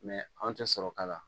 anw tɛ sɔrɔ k'a la